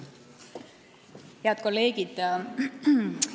Head kolleegid!